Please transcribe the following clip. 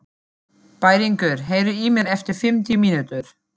Bæringur, heyrðu í mér eftir fimmtíu mínútur.